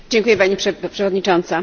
Pani Przewodnicząca!